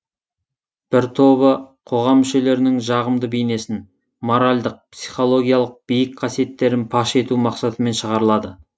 бір тобы қоғам мүшелерінің жағымды бейнесін моральдық психологиялық биік қасиеттерін паш ету мақсатымен шығарылады